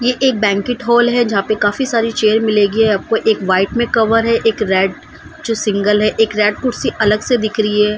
ये एक banquet hall है जहाँ पे काफी सारे चेयर मिलेगी आपको एक व्हाइट में कवर है एक रेड जो सिंगल है एक रेड कुर्सी अलग से दिख रही है।